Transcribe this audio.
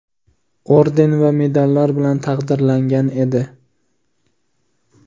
orden va medallar bilan taqdirlangan edi.